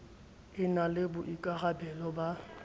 e na le boikarabelo ba